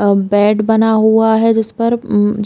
अ bed बना हुआ है जिस पर अ